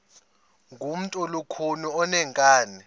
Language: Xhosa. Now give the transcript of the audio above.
ngumntu olukhuni oneenkani